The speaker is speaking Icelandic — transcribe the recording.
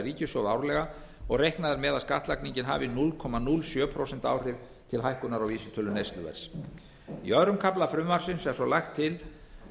ríkissjóð árlega og reiknað er með að skattlagningin hafi núll komma núll sjö prósent áhrif til hækkunar á vísitölu neysluverðs í öðrum kafla frumvarpsins er svo lagt til